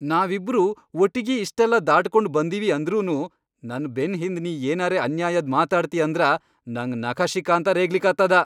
ನಾವಿಬ್ರೂ ಒಟ್ಟಿಗಿ ಇಷ್ಟೆಲ್ಲಾ ದಾಟಗೊಂಡ್ ಬಂದಿವಿ ಅಂದ್ರನೂ ನನ್ ಬೆನ್ ಹಿಂದ್ ನೀ ಏನರೇ ಅನ್ಯಾಯದ್ ಮಾತಾಡ್ತಿ ಅಂದ್ರ ನಂಗ್ ನಖಶಿಖಾಂತ ರೇಗ್ಲಿಕತ್ತದ.